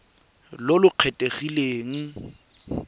boikwadiso jo bo kgethegileng go